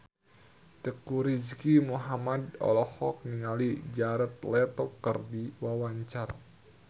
Teuku Rizky Muhammad olohok ningali Jared Leto keur diwawancara